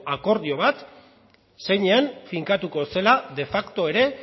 akordio bat zeinean finkatuko zela de facto ere